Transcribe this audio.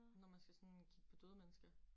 Når man skal sådan kigge på døde mennesker